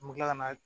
N bɛ kila ka na